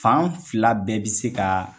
Fan fila bɛɛ bɛ se ka